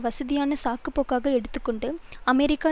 வசதியான சாக்கு போக்காக எடுத்து கொண்டு அமெரிக்கா